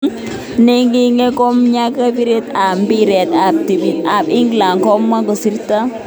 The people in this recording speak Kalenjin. Neingine komnye kapiret ab mbiret ab timit ab England komwa koistogee.